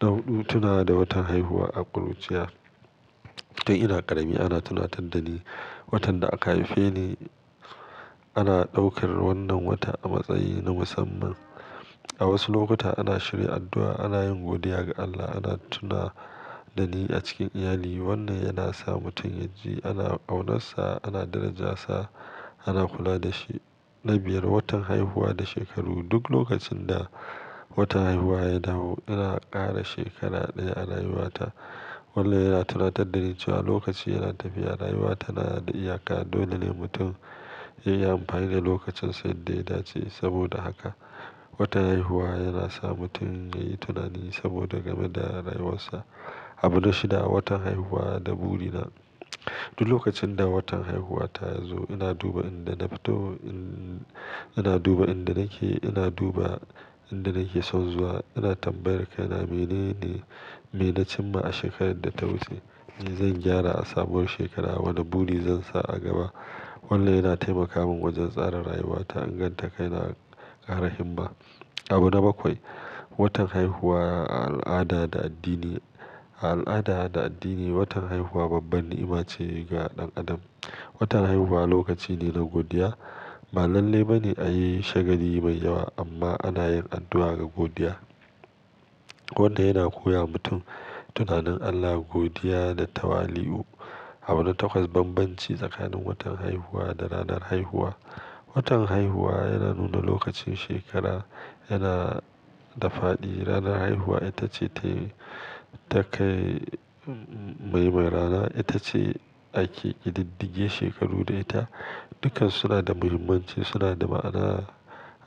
Na huɗu, tunawa da watan haihuwa a ƙuruciya, Kai ina ƙarami ana tunatar da ni watan da aka haife ni. Ana ɗaukar wannan wata a matsayi na musamman. A wasu lokuta ana shirya addu'a, ana yin godiya ga Allah, ana tuna da ni a cikin iyali, wannan yana sa mutum yaji ana ƙaunarsa, ana daraja sa, ana kula da shi. Na biyar, watan haihuwa da shekaru, Duk lokacin da watan haihuwa ya dawo, ina ƙara shekara ɗaya a rayuwata. Wannan yana tunatar da ni cewa lokaci yana tafiya, rayuwa tana da iyaka, dole ne mutum ya yi amfani da lokacin sa yadda ya dace. Saboda haka, watan haihuwa yana sa mutum ya yi tunani saboda game da rayuwarsa. Abu na shida, watan haihuwa, da buri na. Duk lokacin da watan haihuwa ta ya zo, ina duba inda na fito, ina duba inda nake, ina duba inda nake son zuwa. Ina tambayar kai na menene, me na cimma a shekarar da ta wuce, me zan gyara a sabuwar shekara, wane buri zan sa a gaba? Wannan yana taimaka min wajen tsara rayuwata, inganta kai na, ƙara himma. Abu na bakwai, watan haihuwa a al'ada da addini, A al'ada da addini, watan haihuwa babban ni'ima ce ga ɗan Adam. Watan haihuwa lokaci ne na godiya. Ba lalle ba ne a yi shagali mai yawa, amma ana yin addu'a da godiya. Wannan yana koya wa mutum tunanin Allah, godiya da tawali'u. Abu na takwas, bambanci tsakanin watan haihuwa da ranar haihuwa. Watan haihuwa yana nuna lokacin shekara, yana da faɗi. Ranar haihuwa ita ce take, ta kai, uh, maimairana, ita ce ake ƙididdige shekaru da ita, Dukkan su suna da muhimmanci, suna da ma'ana